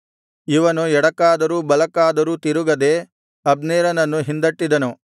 ಇವನು ಎಡಕ್ಕಾದರೂ ಬಲಕ್ಕಾದರೂ ತಿರುಗದೇ ಅಬ್ನೇರನನ್ನು ಹಿಂದಟ್ಟಿದನು